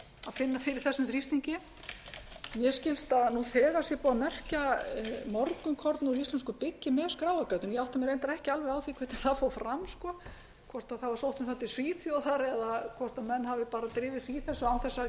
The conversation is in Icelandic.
finna fyrir þessum þrýstingi mér skilst að nú þegar sé búið að merkja morgunkorn úr íslensku byggi með skráargatinu ég átta mig reyndar ekki alveg á því hvernig það fór fram hvort sótt var um það til svíþjóðar eða hvort menn hafi bara drifið í þessu án þess að